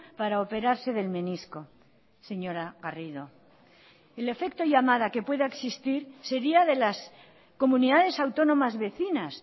para operarse del menisco señora garrido el efecto llamada que pueda existir sería de las comunidades autónomas vecinas